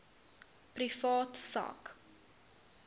privaat sak